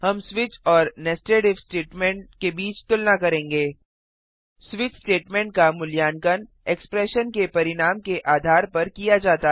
हम स्विच और nested if statement के बीच तुलना करेंगे स्विच स्टेटमेंट का मूल्यांकन एक्स्प्रैशन के परिणाम के आधार पर किया जाता है